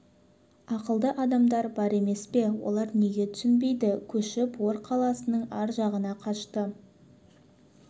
ақылды адамдар бар емес пе олар неге түсінбейді көшіп ор қаласының ар жағына қашты